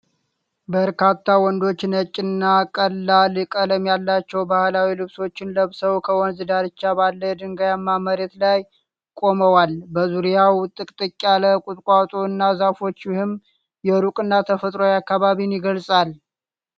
በርካታ ወንዶች ነጭ እና ቀላል ቀለም ያላቸው ባህላዊ ልብሶችን ለብሰው ከወንዝ ዳርቻ ባለ ድንጋያማ መሬት ላይ ቆመዋል። በዙሪያው ጥቅጥቅ ያለ ቁጥቋጦ እና ዛፎች ፣ ይህም የሩቅ እና ተፈጥሯዊ አካባቢን ይገልጻል።